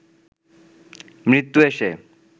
মৃত্যু এসে